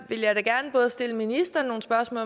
vil jeg da gerne både stille ministeren nogle spørgsmål